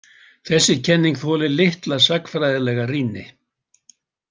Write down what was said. Þessi kenning þolir litla sagnfræðilega rýni.